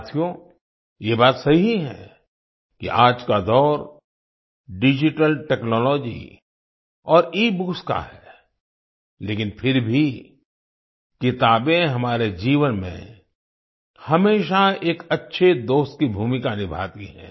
साथियो ये बात सही है कि आज का दौर डिजिटल टेक्नोलॉजी और ईबुक्स का है लेकिन फिर भी किताबें हमारे जीवन में हमेशा एक अच्छे दोस्त की भूमिका निभाती है